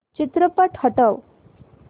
चित्रपट हटव